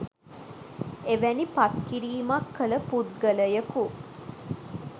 එවැනි පත්කිරීමක් කළ පුද්ගලයකු